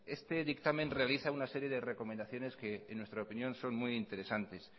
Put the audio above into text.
este dictamen realiza una serie de recomendaciones que en nuestra opinión son muy interesantes